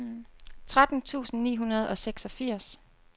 tretten tusind ni hundrede og seksogfirs